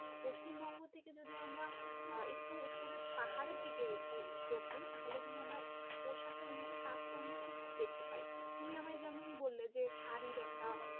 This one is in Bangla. পশ্চিমবঙ্গ থেকে যদি আমরা আহ একটু উপরে পাহাড়ের দিকে একটু চোখ দিই তাহলে কিন্তু আমরা পোশাকের মধ্যে তারতম্য খুব দেখতে পাই, তুমি আমায় যেমন বললে যে শাড়ির একটা